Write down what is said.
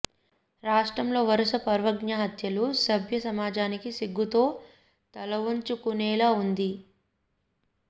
రాష్ట్రంలో వరుస పరువ్ఞ హత్యలు సభ్య సమాజం సిగ్గుతో తలవంచుకునేలా ఉంది